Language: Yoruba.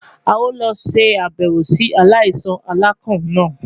A yoo lọ ṣabẹwo si alaisan alakan naa